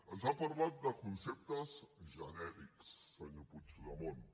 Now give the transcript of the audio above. ens ha parlat de conceptes genèrics senyor puigdemont